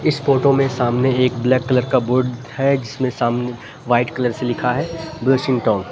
इस फोटो में सामने एक ब्लैक कलर का बोर्ड है जिसमें सामने व्हाइट कलर से लिखा है ब्लशिंग टॉन ।